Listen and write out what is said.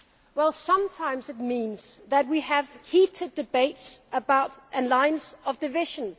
Well sometimes it means that we have heated debates about lines of division.